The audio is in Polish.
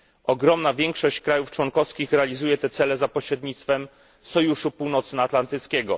Ogromna większość państw członkowskich realizuje te cele za pośrednictwem sojuszu północnoatlantyckiego.